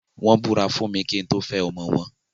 Wọ́n Ìbúra fún kín tó fẹ́ ọmọ wọn.